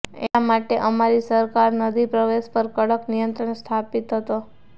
એટલા માટે અમારી સરકાર નદી પ્રદેશ પર કડક નિયંત્રણ સ્થાપિત હતો